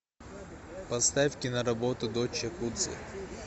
поставь киноработу дочь якудзы